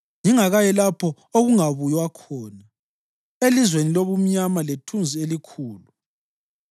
ngingakayi lapho okungabuywa khona, elizweni lobumnyama lethunzi elikhulu,